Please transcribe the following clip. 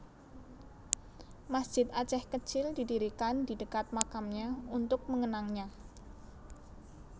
Masjid Aceh kecil didirikan di dekat makamnya untuk mengenangnya